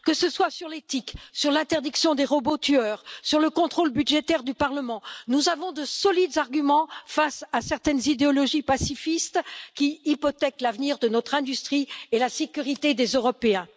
Que ce soit sur l'éthique, sur l'interdiction des robots tueurs ou sur le contrôle budgétaire du Parlement, nous avons de solides arguments face à certaines idéologies pacifistes qui hypothèquent l'avenir de notre industrie et la sécurité des Européens.